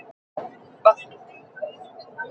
Ekki gat þá grunað hve þarflaus hluttekningin var!